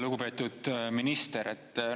Lugupeetud minister!